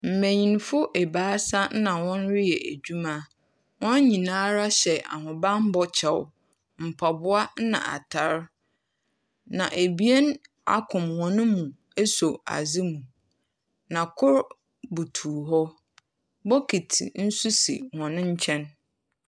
Mbenyinfo ebaasa na hɔn reyɛ edwuma. Hɔn nyinara hyɛ ahobanbɔ kyɛw, mpaboa na atar, na ebien akom hɔn mu aso adze mu, na kor butuw hɔ. Bokiti nso si hɔn nkyɛn.